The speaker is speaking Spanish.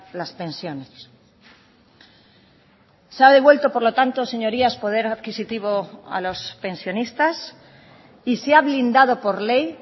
las pensiones se ha devuelto por lo tanto señorías poder adquisitivo a los pensionistas y se ha blindado por ley